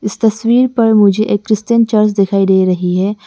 इस तस्वीर पर मुझे एक क्रिस्टियन चर्च दिखाई दे रही है।